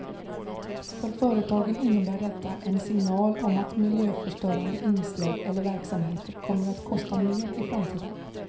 För företagen innebär detta en signal om att miljöförstörande inslag eller verksamheter kommer att kosta mer i framtiden.